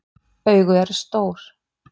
Augu eru stór.